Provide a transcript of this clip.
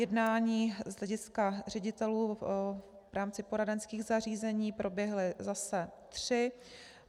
Jednání z hlediska ředitelů v rámci poradenských zařízení proběhla zase tři.